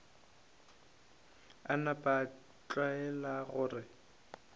a napa a tlwaela gore